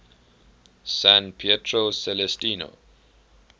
san pietro celestino